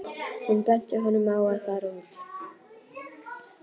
Hún benti honum á að fara út.